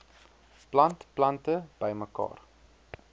plant plante bymekaar